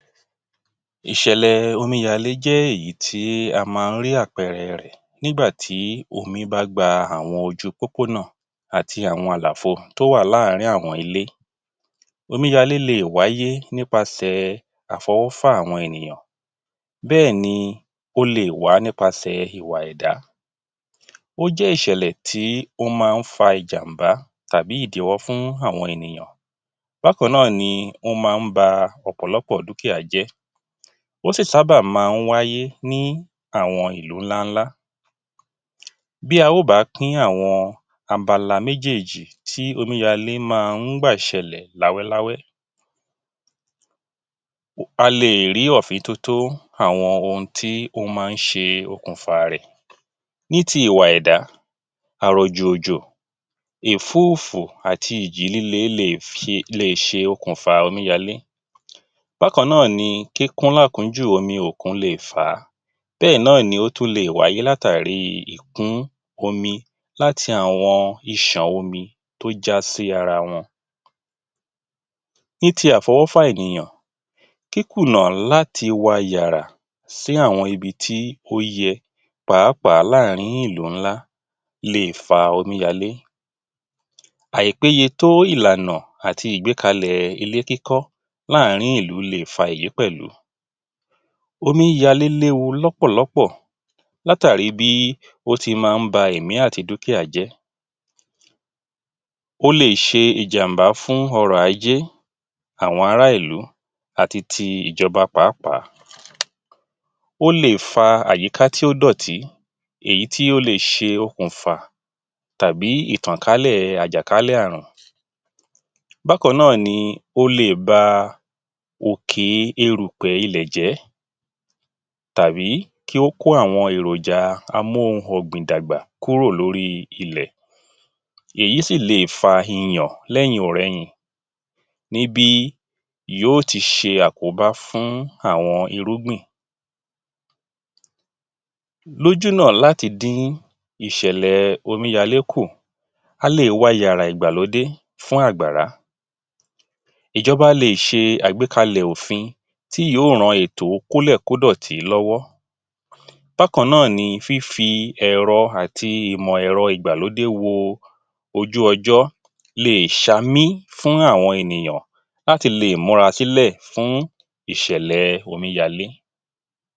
Ìṣẹ̀lẹ̀ omíyalé jẹ́ ìyí tí a máa ń rí àpẹẹrẹ rẹ̀ nígbà tí omi bá gba àwọn ojú pópónà àti àwọn àlàfo tó wá láàrin awọn ilé. Omíyalé lẹ̀ wáyé nípasẹ̀ àfọwọ́fà àwọn ènìyàn, bẹ́ẹ̀ni ó le wá nípasẹ̀ ìwà ẹ̀dá. Ó jẹ́ ìṣẹ̀lẹ̀ tí ó máa ń fa ìjàmbá tàbí ìdíwọ́ fún àwọn ènìyàn. Bákan náà ni ó máa ń ba ọ̀pọ̀lọpọ̀ dúkìá jẹ́, ó sì sábà máa ń wáyé ní àwọn ìlú ńlá ńlá, bí a ó bá pín àwọn abala méjèjì tí omi yàlé máa ń gbà ṣẹlẹ̀ láwẹ́ láwẹ́, a lè rí ọ̀fín tótó àwọn ohun tí ó máa ń ṣe okùnfà rẹ̀. Ní ti ìwà ẹ̀dá, àrọ̀jù òjò, ìfúùfù àti ìjì lílè lè ṣe, lè ṣe okùnfà omíyalé, bákan náà ni kíkún lá kúnjù omi òkun lè fá á, bẹ́ẹ̀ náà ni ó tún lè wáyé látàri ìkún omi láti àwọn iṣàn omi tó já sí ara wọn. Ní ti àfọwọ́fà ènìyàn, kíkùnà láti wàyàrà sí àwọn ibi tó yẹ páàpáà láàrin ìlú ńlá lè fa omíyalé, àìpéye tó ìlànà àti ìgbékalẹ̀ ilé kíkọ́ láàrin ìlú le fa ìyí pẹ̀lú. Omíyalé léwu lọ́pọ̀lọ́pọ̀ látàri bí ó ti máa ń ba ẹ̀mí àti dúkìá jẹ́, ó le ṣe ìjàmbá fún ọrọ̀ ajé àwọn ará ilú àti ti ìjọba pàápàá. Ó lè fa àyíká tí ó dọ̀tí, ìyí tí ó le ṣe okùnfà tàbí ìtànkálẹ̀ àjàkálẹ̀ ààrùn, bákan náà ni ó le ba òkè erùpẹ̀ ilẹ̀ jẹ́ tàbí kí ó kọ́ àwọn èròjà amú ohun ọ̀gbìn dàgbà kúrò lóri ilẹ̀, èyí si lè fa iyàn lẹ́yìn ọ̀rẹyìn níbi yóò ti ṣe àkóbá fún àwọn irúgbìn. Lójúnà láti dín ìṣẹ̀lẹ̀ omíyalé kù, a lè wàyàrà ìgbàlódé fún àgbàrá, ìjọba lè ṣe àgbékalẹ̀ òfin tí yóò ran ètò kólẹ̀ kódọ̀tí lọ́wọ́. Bákan náà ni fífí ẹ̀rọ àti ìmọ̀ ẹ̀rọ ìgbàlódé wo ojú ọjọ́ lè ṣámí fún àwọn ènìyàn láti lè múra sílẹ̀ fún ìṣẹ̀lẹ̀ omíyalé.